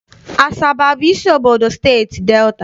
Asaba abụ isi obodo Steeti Delta?